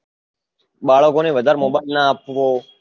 બાળકોને વધાર mobile ના આપવો